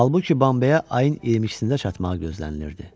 Halbuki Bambeyə ayın 22-də çatmağı gözlənilirdi.